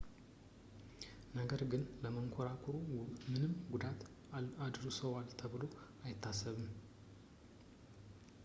ነገር ግን ለመንኮራኩሩ ምንም ጉዳት አድርሰዋል ተብሎ አይታሰብም